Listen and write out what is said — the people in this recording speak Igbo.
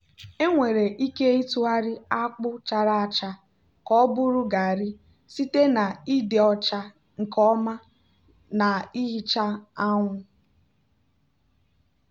enwere ike ịtụgharị akpu chara acha ka ọ bụrụ garri site na ịdị ọcha nke ọma na ihicha anwụ.